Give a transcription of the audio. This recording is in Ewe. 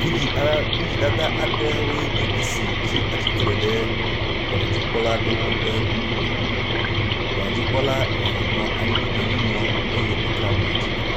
Vidzi a vidzidada aɖewoe nye esi tsi atsitre ɖe dɔnɔdzikpɔlawo ƒe ŋkume. Dɔnɔdzikpɔla eve nɔ anyi nɔ nu ŋlɔm eye ɖeka nɔ atsitre.